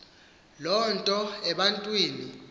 loo nto ebantwini